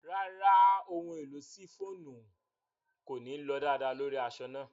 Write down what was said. Ràrá, ohun-èlò ṣíffonù kòní lọ daadàà lórí aṣọ̀ náà.